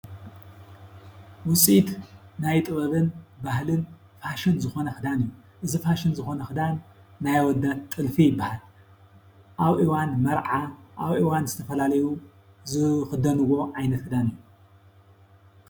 ውፅኢት ናይ ጥበብን ባህልን ፋሽን ዝኾነ ኽዳን እዩ ።እዚ ፋሽን ዝኾነ ኽዳን ናይ ኣወዳት ጥልፊ ይበሃል ኣብ እዋን መርዓ ኣብ እዋን ዝተፈላለዩ ዝኽደንዎ ዓይነት ኽዳን እዩ።